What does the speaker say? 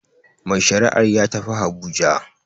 Mai shari'ar ya tafi habuja